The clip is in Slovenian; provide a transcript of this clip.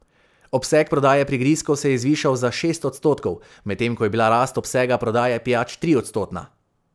Obseg prodaje prigrizkov se je zvišal za šest odstotkov, medtem ko je bila rast obsega prodaje pijač triodstotna.